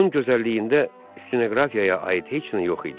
Onun gözəlliyində stenoqrafiyaya aid heç nə yox idi.